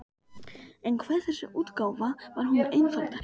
En hve þessi útgáfa var mun einfaldari!